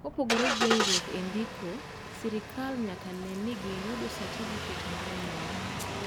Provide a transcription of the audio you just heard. kopongore gi gwenyuk e ndiko serkal nyaka ne ni gi yudo satifiket mar nyuol